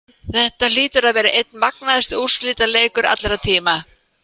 Þetta hlýtur að vera einn magnaðasti úrslitaleikur allra tíma.